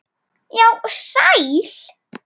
Já, sæl.